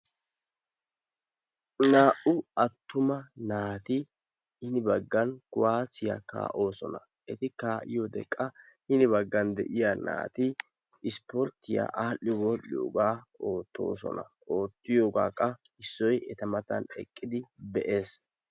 Naa"u attuma naati hini baggan kuwaasiya kaa"oosona eti kaa"iyode qa hini baggan de"iya naati ispporttiya aadhdhi wodhdhiyogaa oottoosona oottiyogaa qa issoyi eta matan eqqidi be"es.